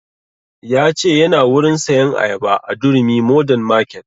Ya ce yana wurin sayan ayaba a durumi modern market